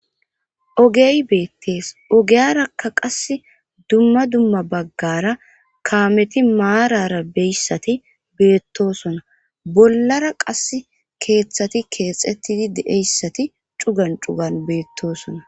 Ogey beettees ogiyarakka qas dumma dumma baggara kaameti maarara beyssati beettosona bollara qassi keeththati keexetidi de7eyssati cugan cugan beettosona.